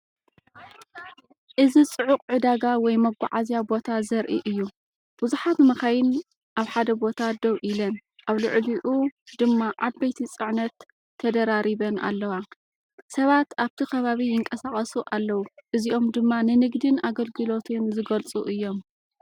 እዚ ጽዑቕ ዕዳጋ ወይ መጓዓዝያ ቦታ ዘርኢ እዩ። ብዙሓት መካይን ኣብ ሓደ ቦታ ደው ኢለን፡ ኣብ ልዕሊኡ ድማ ዓበይቲ ጽዕነት ተደራሪበን ኣለዋ። ሰባት ኣብቲ ከባቢ ይንቀሳቐሱ ኣለዉ። እዚኦም ድማ ንንግድን ኣገልግሎትን ዝገልጹ እዮም።